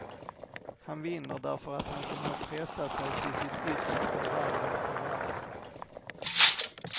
Han vinner därför att han förmår pressa sig till sitt yttersta varv efter varv.